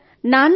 లేదు సర్